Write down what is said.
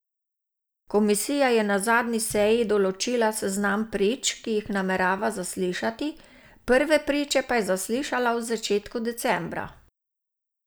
Komisija je na zadnji seji določila seznam prič, ki jih namerava zaslišati, prve priče pa je zaslišala v začetku decembra.